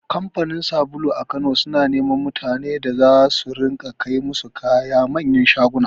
Kamfanin sabulu a Kano suna neman mutanen da za su ringa kai musu kaya manyan shaguna.